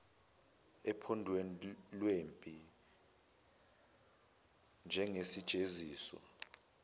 ophondweni lwempi njengesijeziso